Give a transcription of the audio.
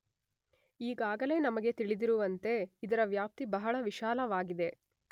ಈಗಾಗಲೇ ನಮಗೆ ತಿಳಿದಿರುವಂತೆ ಇದರ ವ್ಯಾಪ್ತಿ ಬಹಳ ವಿಶಾಲವಾಗಿದೆ.